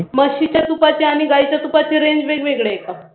म्हशीच्या तुपाची आणि गाईच्या तुपाची range वेगवेगळी आहे का?